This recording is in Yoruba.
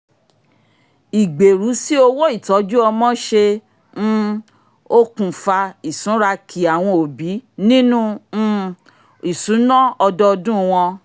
ìgbèrú sí owó ìtọ́jú ọmọ ṣe um okùnfà ìsúnra-ki àwọn òbí nínu um ìṣùnà ọdọọdún wọn